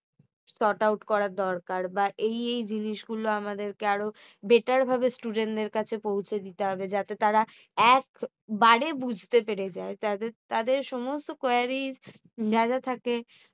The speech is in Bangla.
sort out করার দরকার বা এই এই জিনিসগুলো আমাদেরকে আরো better ভাবে student দের কাছে পৌঁছে দিতে হবে যাতে তারা একবারে বুঝতে পেরে যায়। তাদের সমস্ত queries